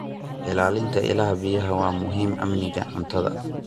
Ilaalinta ilaha biyaha waa muhiim amniga cuntada.